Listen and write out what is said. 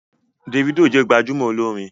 Davido jẹ gbajúmò olórin